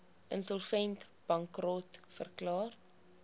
insolvent bankrot verklaar